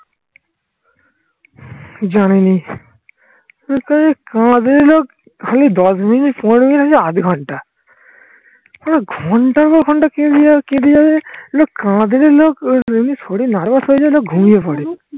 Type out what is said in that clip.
জানিনি